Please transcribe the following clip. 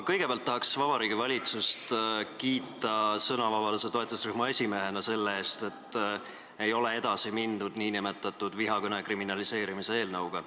Kõigepealt tahan ma sõnavabaduse toetusrühma esimehena kiita Vabariigi Valitsust selle eest, et ei ole edasi mindud nn vihakõne kriminaliseerimise eelnõuga.